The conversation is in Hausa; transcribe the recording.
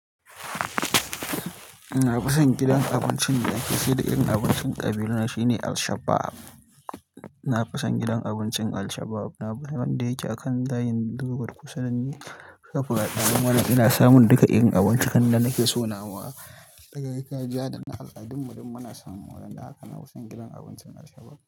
Na fison gidan abincin da ake saida irin abincin ƙabilana shine Alshabbab. Na fison gidan abincin Alshabab, wanda yake a kan titin zoo road kusa da Shoprite. Ananne nake samun duka irin abincin da nake so nawa na gargajiya dana al'adunmu duk muna samu a gurin. Don haka na fison gidan abincin Alshabab.